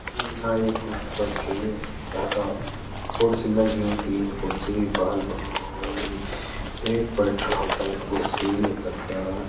यु नाई कु कखि तखा कुर्सी लगीं तीन कुर्सी बाल बनोंण वाली एक बैठ्नो ते कुर्सी तखा।